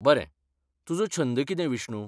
बरें, तुजो छंद कितें बिष्णु?